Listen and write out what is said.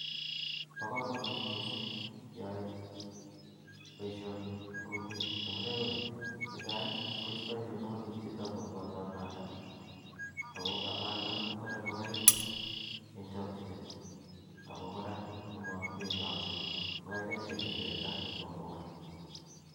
baa kamanut misssing keyae baishonii eng kokwet, amunee konii netaai koistai myanwagik che uu amaldaa ago amaldaa kotaree ngogaik eng chechaknet ago koraa koma nyaaksek ago kaikaikekirndoo kotomaa koit